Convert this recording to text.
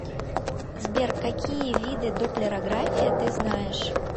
сбер какие виды допплерография ты знаешь